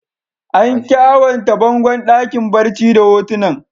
An kyawanta bangon dakin barci da hotunan.